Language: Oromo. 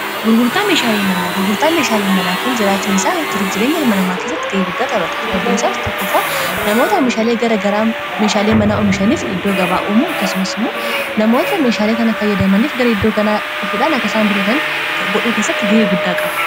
gg meehaalmana gurgurtaa meeshaalii manaa kun jiraachuun isaa jiruuf jireenya hilmanamaa keessatti ga'ee guddaa qabata sababbiinsaas tokkofaa namoota omishaalei gara garaa meeshaalei manaa oomishaniif iddoo gabaa'uumu akkasumas immoo namoota meeshaalee kana fayyadamaniif gara iddoo kanaadhufuudhaan akkaisaan bitatan godhuu kessatti ga'ee guddaa qaba